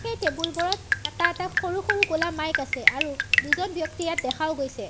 এই টেবুল বোৰত এটা এটা সৰু সৰু ক'লা মাইক আছে আৰু দুজন ব্যক্তি ইয়াত দেখাও গৈছে।